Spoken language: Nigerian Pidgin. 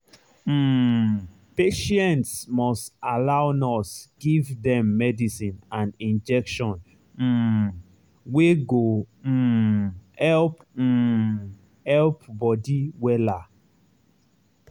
um patients must allow nurse give dem medicine and injection um wey go um help um help body wella.